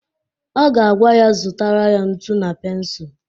Ọ ga-agwa ya zụtara ya ntu na pensul!